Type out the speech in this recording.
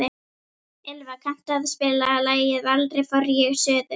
Ylva, kanntu að spila lagið „Aldrei fór ég suður“?